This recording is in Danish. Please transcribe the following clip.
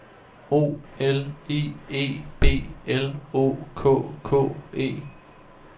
O L I E B L O K K E